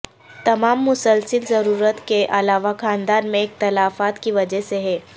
تمام مسلسل ضرورت کے علاوہ خاندان میں اختلافات کی وجہ سے ہے